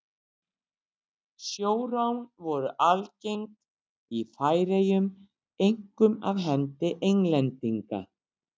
Sjórán voru algeng í Færeyjum, einkum af hendi Englendinga.